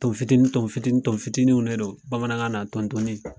Ton fitini ton fitini ton fitiniw de do bamanankan na tontonni